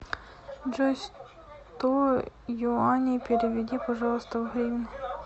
джой сто юаней переведи пожалуйста в гривны